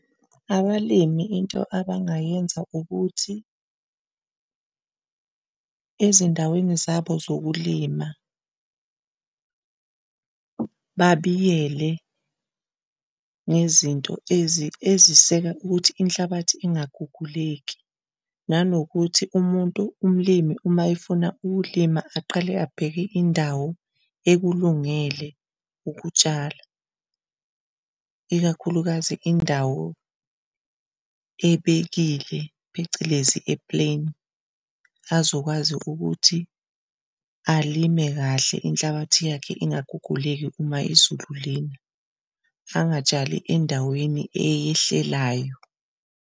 Abalimi into abangayenza ukuthi ezindaweni zabo zokulima babiyele ngezinto eziseka ukuthi inhlabathi engaguguleki nanokuthi umuntu umlimi uma efuna ukulima aqale abheke indawo ekulungele ukutshala ikakhulukazi indawo ebekile phecelezi e-plain azokwazi ukuthi alime kahle Inhlabathi yakhe ingaguguleki uma izulu lina angatshali endaweni eyehlelayo.